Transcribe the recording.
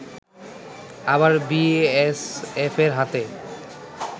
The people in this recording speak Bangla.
আবার বিএসএফের হাতে